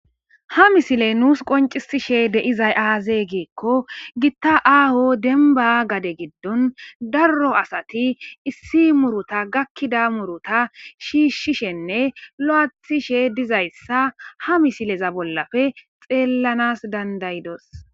Ha misiley nuus qoncisishe deizay aazee geekko gitta aaho denba gade giddon darro asati issi muruta gakkida muruta shiishshishenne lo'athishe dizayssa ha misileza bollafe xeellanas dandayidos.